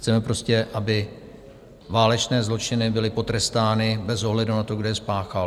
Chceme prostě, aby válečné zločiny byly potrestány bez ohledu na to, kdo je spáchal.